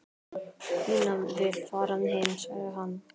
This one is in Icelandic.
Ína vill fara heim, sagði hann.